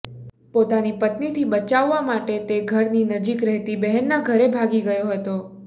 પોતાની પત્નીથી બચાવવા માટે તે ઘરની નજીક રહેતી બહેનનાં ઘરે ભાગી ગયો હતો